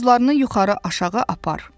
Buynuzlarını yuxarı aşağı apar.